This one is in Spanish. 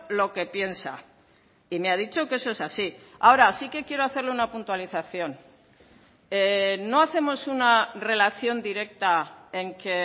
lo que piensa y me ha dicho que eso es así ahora sí que quiero hacerle una puntualización no hacemos una relación directa en que